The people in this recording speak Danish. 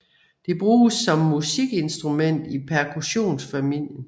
Det bruges som musikinstrument i percussionfamilien